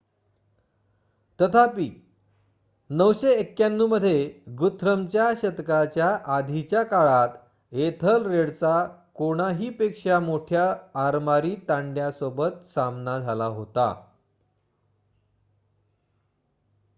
तथापि 991 मध्ये गुथ्रमच्या शतकाच्या आधीच्या काळात एथलरेडचा कोणाहीपेक्षा मोठ्या आरमारी तांड्यासोबत सामना झाला होता